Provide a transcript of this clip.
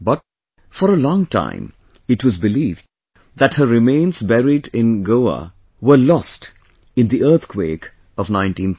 But, for a long time it was believed that her remains buried in Goa were lost in the earthquake of 1930